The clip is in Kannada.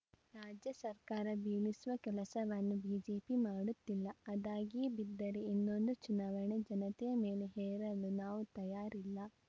ರಾಜ್ಯ ಸರ್ಕಾರ ಬೀಳಿಸುವ ಕೆಲಸವನ್ನು ಬಿಜೆಪಿ ಮಾಡುತ್ತಿಲ್ಲ ಅದಾಗಿಯೇ ಬಿದ್ದರೆ ಇನ್ನೊಂದು ಚುನಾವಣೆ ಜನತೆಯ ಮೇಲೆ ಹೇರಲು ನಾವು ತಯಾರಿಲ್ಲ